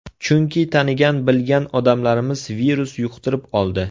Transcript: Chunki tanigan-bilgan odamlarimiz virus yuqtirib oldi.